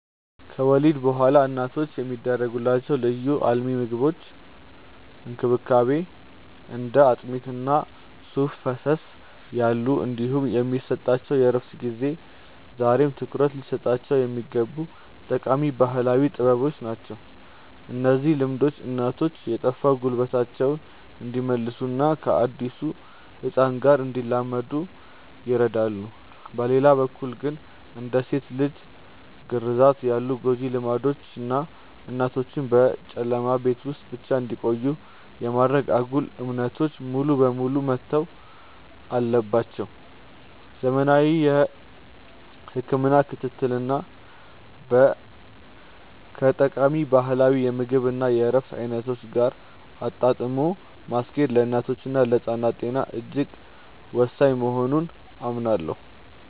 ከወሊድ በኋላ እናቶች የሚደረግላቸው ልዩ የአልሚ ምግቦች እንክብካቤ (እንደ አጥሚት እና ሱፍ ፈሰስ ያሉ) እንዲሁም የሚሰጣቸው የእረፍት ጊዜ ዛሬም ትኩረት ሊሰጣቸው የሚገቡ ጠቃሚ ባህላዊ ጥበቦች ናቸው። እነዚህ ልምዶች እናቶች የጠፋ ጉልበታቸውን እንዲመልሱና ከአዲሱ ህፃን ጋር እንዲላመዱ ይረዳሉ። በሌላ በኩል ግን፣ እንደ ሴት ልጅ ግርዛት ያሉ ጎጂ ልማዶች እና እናቶችን በጨለማ ቤት ውስጥ ብቻ እንዲቆዩ የማድረግ አጉል እምነቶች ሙሉ በሙሉ መተው አለባቸው። ዘመናዊ የህክምና ክትትልን ከጠቃሚ ባህላዊ የምግብ እና የእረፍት አይነቶች ጋር አጣጥሞ ማስኬድ ለእናቶችና ለህፃናት ጤና እጅግ ወሳኝ መሆኑን አምናለሁ።